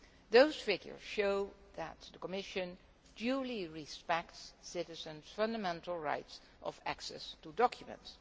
These figures show that the Commission duly respects citizens' fundamental right of access to documents.